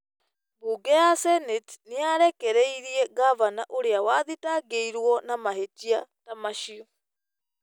mbunge ya seneti nĩ yarekereirie ngavana ũrĩa wathitangĩirwo na mahĩtia ta macio.